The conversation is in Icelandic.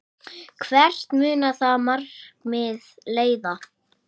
Elsku Palli, Jakob og Andrea.